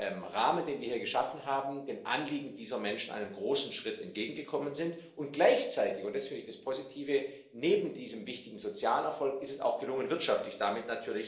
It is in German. Rahmen, den wir hier geschaffen haben, dem Anliegen dieser Menschen einen großen Schritt entgegengekommen sind, und gleichzeitig und das ist das Positive ist es neben diesem wichtigen sozialen Erfolg auch gelungen, wirtschaftlich damit